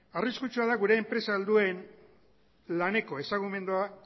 arriskutsua da gure enpresa helduen laneko ezagumendua